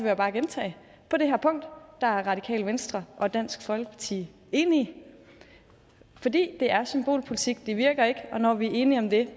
jeg bare gentage på det her punkt er radikale venstre og dansk folkeparti enige i fordi det er symbolpolitik det virker ikke og når vi er enige om det